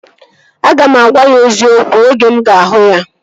Aga m agwa ya eziokwu oge mụ ga-ahụ ya